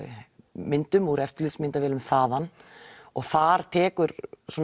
myndum úr eftirlitsmyndavélum þaðan og þar tekur